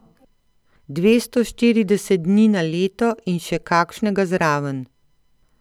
Dvesto štirideset dni na leto in še kakšnega zraven.